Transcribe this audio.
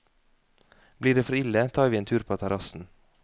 Blir det for ille, tar vi en tur på terrassen.